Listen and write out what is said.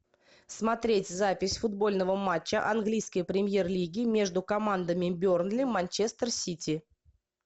смотреть запись футбольного матча английской премьер лиги между командами бернли манчестер сити